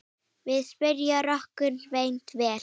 Við spuna rokkur reynist vel.